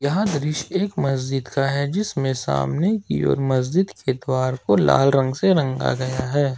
यह दृश्य एक मस्जिद का हैं जिसमें सामने की ओर मस्जिद के द्वार को लाल रंग से रंगा गया हैं।